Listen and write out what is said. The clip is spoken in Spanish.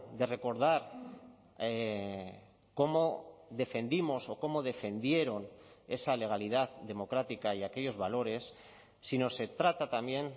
de recordar cómo defendimos o cómo defendieron esa legalidad democrática y aquellos valores sino se trata también